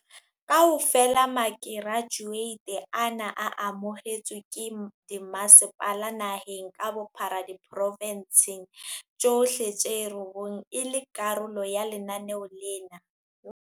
Kaofela makerajueti ana a amohetswe ke dimasepala naheng ka bophara diporofensing tsohle tse robong e le karolo ya lenaneo lena.